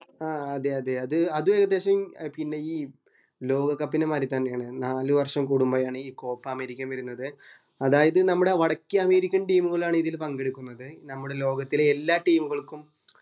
ആഹ് അതെ അതെ അത് അത് ഏകദേശം പിന്നെ ഈ ലോക cup നെ മാതിരി തന്നെയാണ് നാലു വര്ഷം കൂടുമ്പോഴാണ് ഈ copa അമേരിക്ക വരുന്നത് അതായതു നമ്മുടെ വടക്കേ അമേരിക്കൻ team തുകൽ ആണ് ഇതിൽ പങ്കെടുക്കുന്നത് നമ്മുടെ ലോകത്തിലെ എല്ലാ team ഉകൾക്കും